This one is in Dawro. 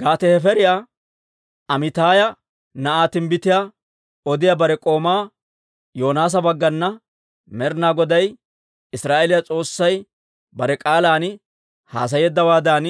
Gaate-Hefeeriyaa Amiitaaya na'aa timbbitiyaa odiyaa bare k'oomaa Yoonaasa baggana Med'ina Goday Israa'eeliyaa S'oossay bare k'aalan haasayeeddawaadan,